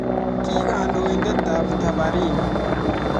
Kikandoindetab taparin